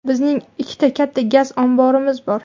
Bizning ikkita katta gaz omborimiz bor.